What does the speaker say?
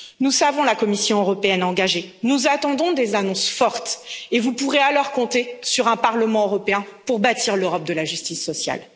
Nous savons la Commission européenne engagée, nous attendons des annonces fortes et vous pourrez alors compter sur le Parlement européen pour bâtir l'Europe de la justice sociale.